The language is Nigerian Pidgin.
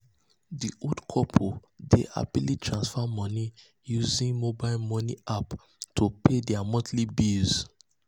di old couple dey happily transfer moni using mobile moni app to pay dia monthly bills. bills.